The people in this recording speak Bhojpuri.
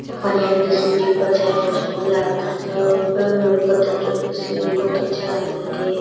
पनिया में के शिवजी क परछाई बहुत सुंदर लागता। चोरो ओर फुल उल लउकत ताटे। शिवजी बहुत अच्छा लगत ताटे।